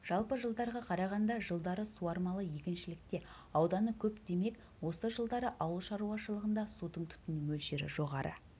жалпы жылдарға қарағанда жылдары суармалы егіншілікте ауданы көп демек осы жылдары ауылшаруашылығында судың тұтыну мөлшері жоғары